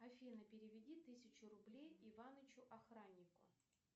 афина переведи тысячу рублей иванычу охраннику